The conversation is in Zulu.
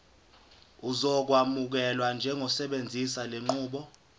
uzokwamukelwa njengosebenzisa lenqubo